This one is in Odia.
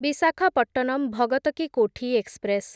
ବିଶାଖାପଟ୍ଟନମ ଭଗତ କି କୋଠି ଏକ୍ସପ୍ରେସ୍